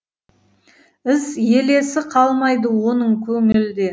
із елесі қалмайды оның көңілде